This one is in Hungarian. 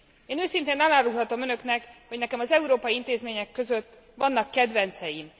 Én őszintén elárulhatom Önöknek, hogy nekem az európai intézmények között vannak kedvenceim.